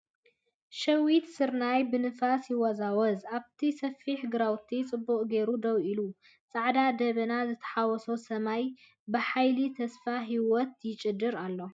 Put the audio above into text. ሸዊት ስርናይ ብንፋስ ይወዛወዝ፣ ኣብቲ ሰፊሕ ግራውቲ ጽቡቕ ጌሩ ደው ኢሉ። ጻዕዳ ደበና ዝተሓዋወሰ ሰማይ ብሓይሊ ተስፋን ህይወትን ይጭድር ኣሎ።